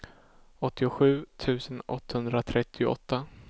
åttiosju tusen åttahundratrettioåtta